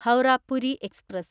Howrah Puri express